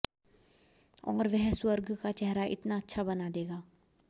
और वह स्वर्ग का चेहरा इतना अच्छा बना देगा